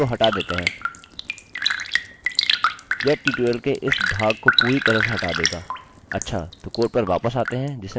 अच्छा तो कोड पर वापस आते हैं जिसे मैं अभी दर्शा रहा हूँ और चलिए रिफ्रेशrefreshकरते हैं